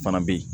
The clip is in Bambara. Fana bɛ yen